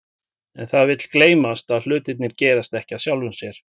En það vill gleymast að hlutirnir gerast ekki af sjálfu sér.